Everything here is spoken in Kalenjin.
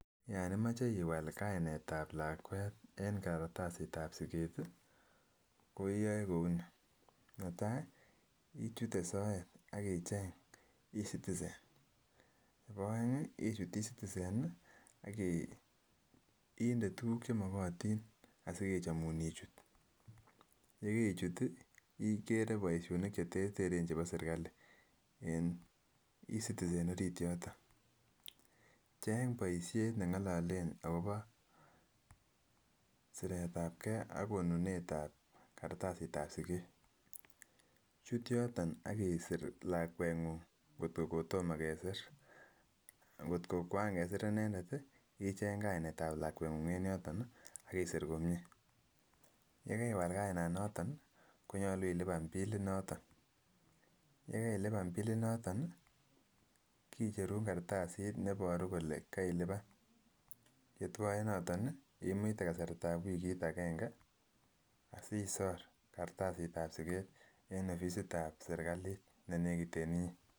Yon imoche iwal kainet ab lakwet en kartasit ab siket tii ko iyoe kouni, netai ichute soet ak icheng ecitizen nebo oengi ichut ecitizen nii akiinde tukuk chemokotin asikechomun ichut yekeichut tii ikere boishonik cheterteren chebo serikali en ecitizen orit yoton. Cheng boishet chengololen akobo siret ab gee ak konunet ab kartasit ab siket, chut yoton ak isir lakwenguny kotko kotomo kesir kotko kwan kesir inendet icheng kainet ab lakwanguny en yoton nii ak isir komie, yekewal kainan noton nii konyolu ilipan bilit noton. Yekailipan bilit noton nii kicherun kartasit neboru kole keilipan yetwoe noton nii imuite kasartab wikit agenge asisor kartasit ab siket en offisit ab sirkalit nenekit en inyee.